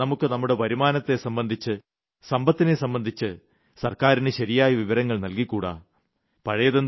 എന്തുകൊണ്ട് നമുക്ക് നമ്മുടെ വരുമാനത്തെ സംമ്പന്ധിച്ച് സമ്പത്തിനെ സംബന്ധിച്ച് സർക്കാരിന് ശരിയായ വിവരങ്ങൾ നൽകിക്കൂടാ